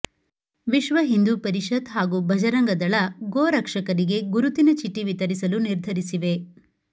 ವಿಶ್ವ ಹಿಂದೂ ಪರಿಷತ್ ಹಾಗೂ ಭಜರಂಗದಳ ಗೋ ರಕ್ಷಕರಿಗೆ ಗುರುತಿನ ಚೀಟಿ ವಿತರಿಸಲು ನಿರ್ಧರಿಸಿವೆ